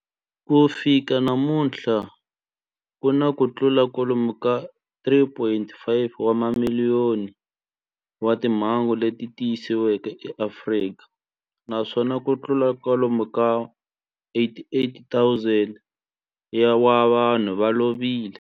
Ku fika namuntlha ku na kutlula kwalomu ka 3.5 wa timiliyoni wa timhangu leti tiyisisiweke eAfrika, naswona kutlula kwalomu ka 88,000 wa vanhu va lovile.